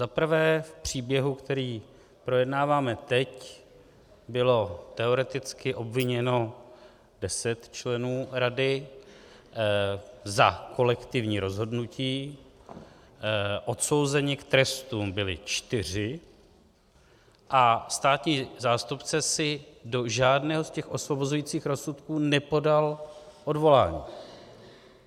Zaprvé v příběhu, který projednáváme teď, bylo teoreticky obviněno deset členů rady za kolektivní rozhodnutí, odsouzeni k trestům byli čtyři a státní zástupce si do žádného z těch osvobozujících rozsudků nepodal odvolání.